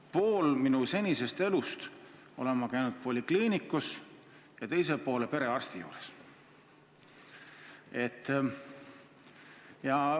Pool oma senisest elust olen ma käinud polikliinikus ja teise poole perearsti juures.